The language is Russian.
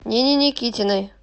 нине никитиной